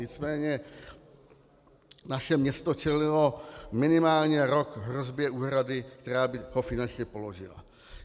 Nicméně naše město čelilo minimálně rok hrozbě úhrady, která by ho finančně položila.